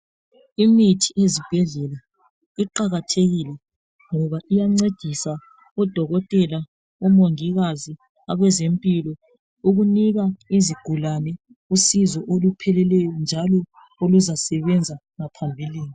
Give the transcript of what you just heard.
Imithi ezibhedlela iqakathekile ngoba iyancedisa odokotela, omongikazi abezempilo ukunika izigulane usizo olupheleleyo njalo olazasebenza ngaphambilini.